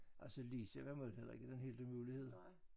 Altså Lise er vel heller ikke en helt umulighed